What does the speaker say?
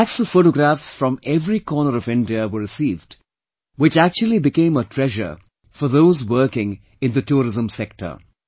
Lakhs of photographs from every corner of India were received which actually became a treasure for those working in the tourism sector